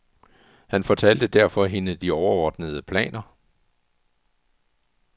Han fortalte derfor hende de overordnede planer.